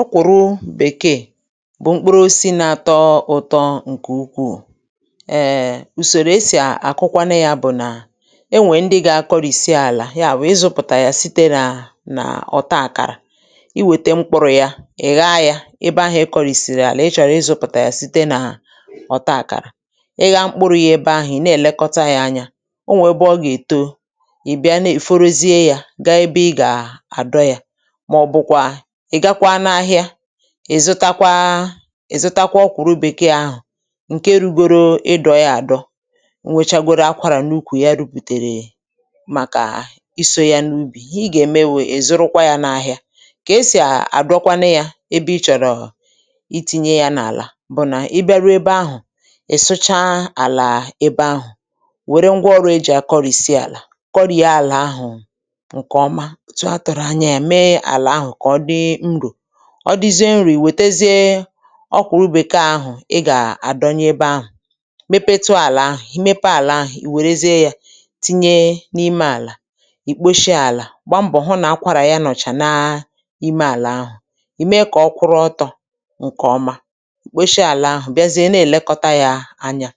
Ọkwụrụ bèkeè bụ̀ mkpuru osisi nȧ-ȧtọ̇ ụ̇tọ̇ ǹkè ukwuù, um ùsòrò esì àkụkwanụ yȧ bụ̀ nà enwè ndị gȧ-akọrìsie àlà yaà wụ̀ ịzụ̇pụ̀tà yà site n’à nà ọ̀ta àkàrà, i wète mkpụrụ̇ yȧ ị̀ gha ya ebe ahụ̀ e kọrìsìrì àlà ị chọrọ ịzụ̇pụ̀tà yà site nà ọ̀ta àkàrà, ị gha mkpụrụ̇ ihe ebe ahụ̀ ị̀ nà-èlekọta yȧ anya o nwè ebe ọ gà-èto ị̀ bịa nà è forozie yȧ gaa ebe ị gà àdọ yȧ, mà ọbụkwa ị̀ gakwa n’ahịa, ị̀ zụtakwa ị̀ zụtakwa ọkwụrụ bèkeè ahụ̀ ǹke rugoro ịdọ ya àdọ, o nwèchagoro akwàrà n’ukwù ya rupùtèrè màkà isȯ ya n’ubì, i gà-ème wụ̀ ị̀ zụrụkwa ya n’ahịa kà esì à àdụọkwanụ yȧ ebe ị chọ̀rọ̀ iti̇nye ya n’àlà bụ̀ nà ị bịaru ebe ahụ̀, ị sụcha àlà ebe ahụ̀, wère ngwa ọrụ e jì à kọrìsie àlà kọrì ya àlà ahụ̀ ǹkè ọma otú atụrụ ányá ya mé ala ahụ kà ọ dị nrò, ọ dịzie nrò ị̀ wètezie ọkwụrụ bekeè ahụ̀ ị gà-àdọnya ebe ahụ̀, mepetu àlà ahụ̀ i mepe àlà ahụ̀ ì wèrezie yȧ tinye n’ime àlà, ì kposhie àlà gba mbọ̀ hụ nà akwarà ya nọ̀chà na imė àlà ahụ̀, ìme kà ọkwụrụ ọtọ̇ ǹkè ọma, kposhie àlà ahụ̀ bịazie na-èlekọta yȧ anyȧ,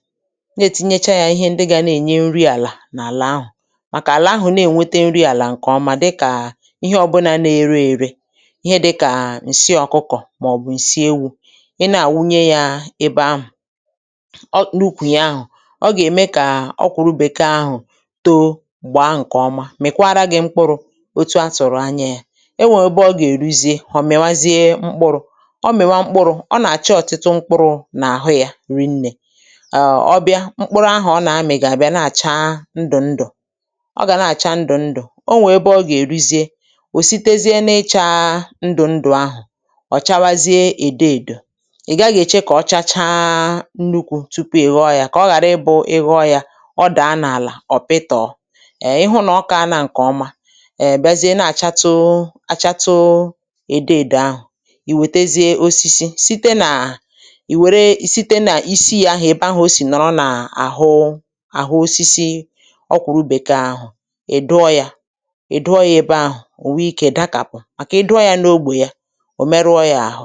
nà-ètinyecha yȧ ihe ndị ga nà-ènye nri àlà n’àlà ahụ̀, màkà àlà ahụ̀ na-ènwete nri àlà ǹkè ọma dịkà ihe ọbụna na-ere ère, ìhè dika ǹsị ọ̀kụkọ̀ màọ̀bụ̀ ǹsị ewu̇, ị nà-àwunye yȧ ebe ahụ̀, na ụkwụ yȧ ahụ̀ ọ gà-ème kà ọkwụrụ bekeè àhụ tọ́ọ́, gbà nkè ọma, mị̀kwara gị̇ mkpụrụ̇ otu̇ a tụ̀rụ̀ anya yȧ, ẹ nwẹ̇ ẹbẹ ọ gà-èruzie ọ̀ mịwazie mkpụrụ̇, ọ mịwa mkpụrụ̇ ọ nà-àchọ ọ̀tịtụ mkpụrụ̇ n’àhụ yȧ rinnė um ọbịa mkpụrụ ahu ọ nà-amị̀ gà-àbịa na-àchaa ndụ̀ ndụ̀, ọ gà na-àchaa ndụ̀ ndụ̀, o nwè ebe ọ gà-èruzie, ọ̀ site zie na-ichaa ndù ndù ahụ, ọ chawazie ède èdò, ị̀ gaghị èche kà ọ chacha nnukwu̇ tupu ịghọ yȧ kà ọ ghàra ịbụ̇ ịghọ yȧ ọ daa n’àlà ọ̀ pịtọ̀ um ịhụ̇ nà ọ kaana ǹkè ọma um bịazie na-àchatụ achatụ ède èdò ahụ̀, ì wètezie osisi site nà, ì wère site nà isi yȧ ahụ̀ ebe ahụ̀ o sì nọ̀rọ nà àhụ àhụ osisi ọkwụrụ bekeè àhụ ị̀ dụọ yȧ, ị̀ dụọ ya ebe ahụ̀ ò wee ikė dakàpụ̀, maka ị̀ duo ya n'ógbè ya òmerùọ yà ahụ̀.